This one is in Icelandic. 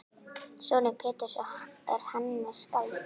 Sonur Péturs er Hannes skáld.